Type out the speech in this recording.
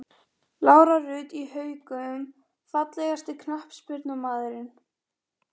Lára Rut í Haukum Fallegasti knattspyrnumaðurinn?